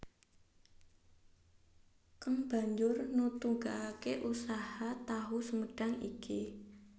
Keng banjur nutugaké usaha tahu sumedhang iki